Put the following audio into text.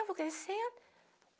Eu vou crescendo.